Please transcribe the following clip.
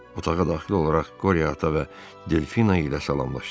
Otağa daxil olaraq Qorya ata və Delfina ilə salamlaşdı.